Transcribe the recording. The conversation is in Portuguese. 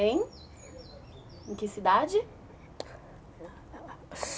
Em? Em que cidade?